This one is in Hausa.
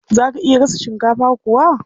Za a iya gasa shinkafa kuwa?